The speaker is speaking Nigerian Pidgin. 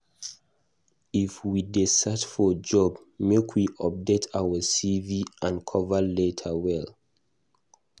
If we dey search for job, make we update our CV and cover letter well.